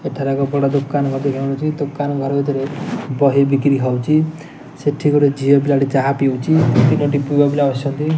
ଏଠାରେ ଗୋଟେ ବଡ ଦୋକାନ ଲାଗି ଜାଣୁଛି ଦୋକାନ ଘର ଭିତରେ ବହି ବିକ୍ରି ହୋଉଚି ସେଠି ଗୋଟେ ଝିଅ ପିଲାଟେ ଚାହା ପିଉଚି ତିନୋଟି ପୁଆପିଲ ବସିଛନ୍ତି।